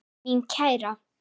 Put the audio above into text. Mín kæra.